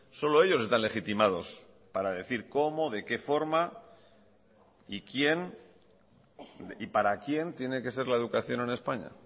solo ellos están legitimados para decir cómo de qué forma y quién y para quién tiene que ser la educación en españa